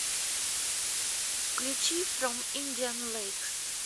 включи фром индиан лэйкс